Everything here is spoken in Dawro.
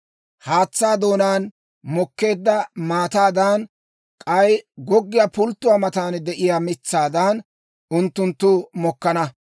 Haatsaa doonaan mokkeedda maataadan, k'ay goggiyaa pulttuwaa matan de'iyaa mitsaadan, unttunttu mokkana.